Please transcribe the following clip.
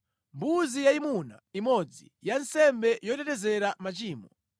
mbuzi yayimuna imodzi ya nsembe yotetezera machimo;